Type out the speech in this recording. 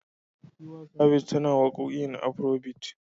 Tiwa Savage tana wakoƙin in Afrobeat.